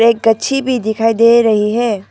एक अच्छी भी दिखाई दे रही है।